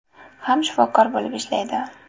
ham shifokor bo‘lib ishlaydi.